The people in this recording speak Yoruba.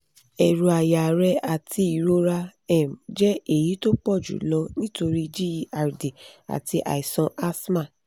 eru aya rẹ àti ìrora um jẹ́ èyí tó pọ̀ jù lọ nítorí gerd àti àìsàn asthma